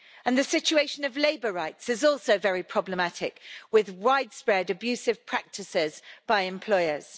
The situation of labour rights is also very problematic, with widespread abusive practices by employers.